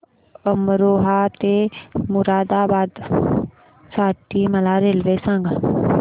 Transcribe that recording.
अमरोहा ते मुरादाबाद साठी मला रेल्वे सांगा